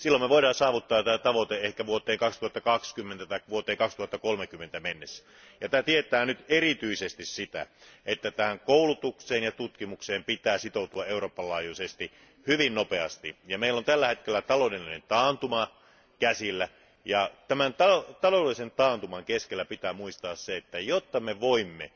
Silloin me voimme saavuttaa tämän tavoitteen ehkä vuoteen 2020 tai 2030 mennessä. Tämä tarkoittaa erityisesti sitä, että koulutukseen ja tutkimukseen pitää sitoutua Euroopan laajuisesti hyvin nopeasti. Meillä on tällä hetkellä käsillä taloudellinen taantuma ja tämän taloudellisen taantuman keskellä pitää muistaa, että jotta me voimme